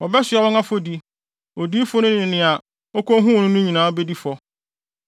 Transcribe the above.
Wɔbɛsoa wɔn afɔdi; odiyifo no ne nea okohuu no no nyinaa bedi fɔ.